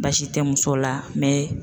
Baasi tɛ muso la